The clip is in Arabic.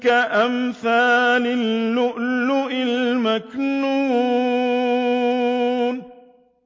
كَأَمْثَالِ اللُّؤْلُؤِ الْمَكْنُونِ